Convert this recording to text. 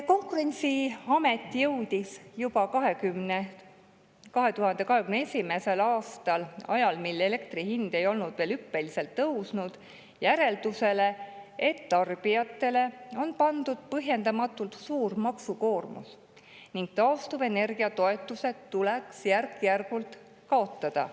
Konkurentsiamet jõudis juba 2021. aastal – ajal, mil elektri hind ei olnud veel hüppeliselt tõusnud – järeldusele, et tarbijatele on pandud põhjendamatult suur maksukoormus ning taastuvenergia toetused tuleks järk-järgult kaotada.